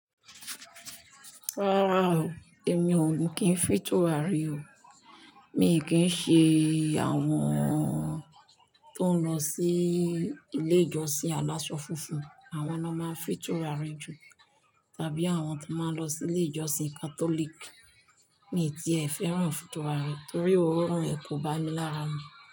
Rárá o èmi ò kí n fìn turare o. Mi kì n ṣe àwọn tó ń lọ sí ilé ìjọsìn. Aláṣọ funfun, àwọn ná máa fìn turare jù tàbí àwọn tó máa ń lọ sí ilé ìjọsìn Catholic. Mi ti ẹ̀ fẹ́ràn turare torí òórùn ẹ̀ kò bá mi lára mi.